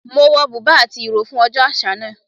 Mo wọ bùbá àti ìró fún ọjọ́ àṣà náà